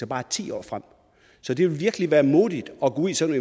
bare ti år frem så det vil virkelig være modigt at gå ud i sådan